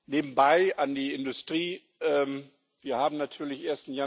Nebenbei an die Industrie Wir haben natürlich den